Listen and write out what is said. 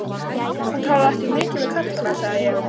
Þú talar ekki mikið við kallana, sagði ég.